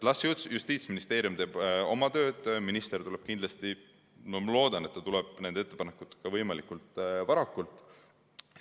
Las Justiitsministeerium teeb oma tööd, minister tuleb kindlasti või ma loodan, et ta tuleb nende ettepanekutega võimalikult varakult siia.